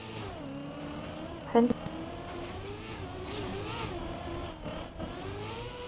Fundarherbegið var heitt og notalegt þegar Jón Ólafur kom aftur þangað.